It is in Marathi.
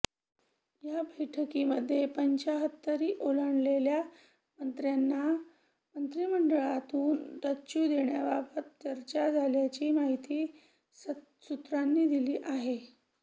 या बैठकीमध्ये पंच्च्याहत्तरी ओलांडलेल्या मंत्र्यांना मंत्रिमंडळातून डच्चू देण्याबाबत चर्चा झाल्याची माहिती सूत्रांनी दिली आहे